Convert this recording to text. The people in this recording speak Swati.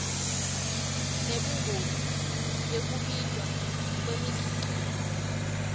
nebungoti bekubita kwemikhicito